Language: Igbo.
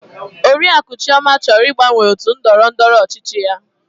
Oriakụ Chioma chọrọ ịgbanwe otu ndọrọ ndọrọ ọchịchị ya.